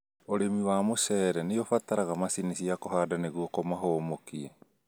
Arĩmi a mũcere nĩũbataraga macini cia kũhanda nĩguo kũmahũmũkia